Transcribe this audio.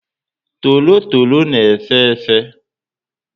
Torotoro na efe efe